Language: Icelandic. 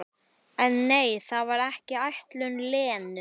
En nei, það var ekki ætlun Lenu.